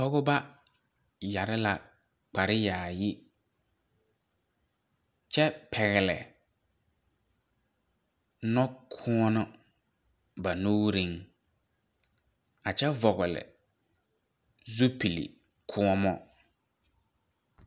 Pɔgeba yɛre la kpare yaayi kyɛ pɛgle nɔ kɔɔlɔ ba nuuriŋ a kyɛ vɔgle zupile kɔɔmɔ.